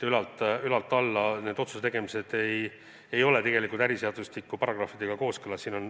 Ülalt alla otsuse tegemised ei ole tegelikult äriseadustiku paragrahvidega kooskõlas.